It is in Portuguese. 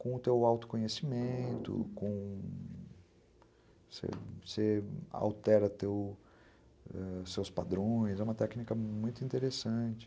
com o teu autoconhecimento, com... você você altera, teu... seus padrões, é uma técnica muito interessante.